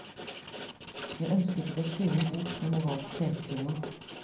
Jeg ønsket ikke å skrive en bok med moralsk pekefinger.